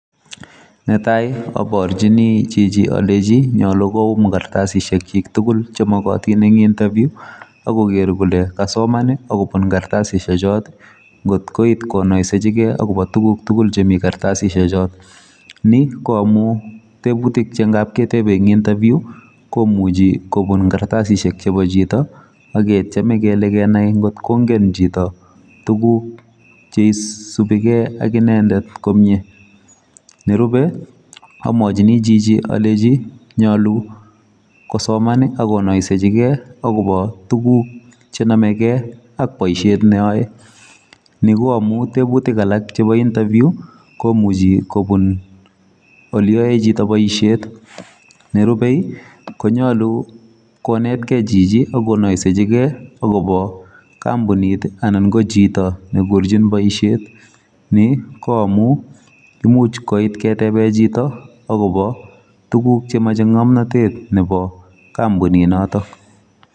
Netaii aparchini Chichi akalenjiii magat. kokonor kartasicheek chiik tugul amun nitok ya kakipaaaa interview alenjin alee Mutai kawaaaa interview kelenjin koparweech olecham kwaotaii poisheeet nii KO amun imuchi koit ketebee Chito tugun chepo ngamnatet